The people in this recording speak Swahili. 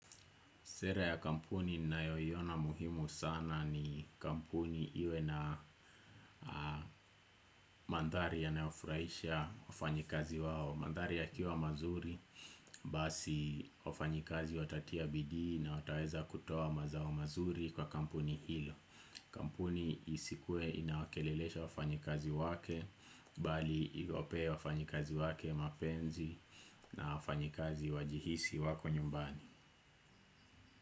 Sera ya kampuni ninayoiona muhimu sana ni kampuni iwe na mandhari yanayofurahisha wafanyikazi wao. Mandhari yakiwa mazuri, basi wafanyikazi watatia bidii na wataweza kutoa mazao mazuri kwa kampuni hilo. Kampuni isikue inawakelelesha wafanyikazi wake, bali iwape wafanyikazi wake mapenzi na wafanyikazi wajihisi wako nyumbani.